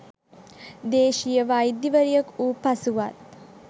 දේශීය වෛද්‍යවරියක වූ පසුවත්